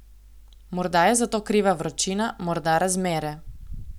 Morda je za to kriva vročina, morda razmere.